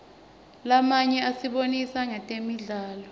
lamanye asibonisa ngetemidlalo